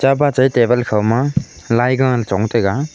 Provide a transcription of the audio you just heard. chapa chai table khoma lai gahla chong taiga.